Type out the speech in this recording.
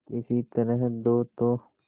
किसी तरह दो तो